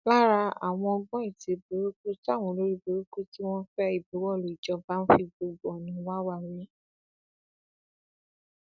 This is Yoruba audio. lára àwọn ọgbọn ète burúkú táwọn olórí burúkú tí wọn ń fẹ ìbuwọlù ìjọba ń fi gbogbo ọnà wa wa rèé